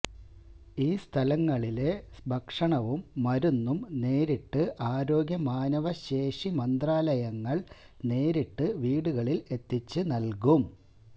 ഈ സ്ഥലങ്ങളില് ഭക്ഷണവും മരുന്നും നേരിട്ട് ആരോഗ്യ മാനവ ശേഷി മന്ത്രലയങ്ങള് നേരിട്ട് വീടുകളില് എത്തിച്ച് നല്കും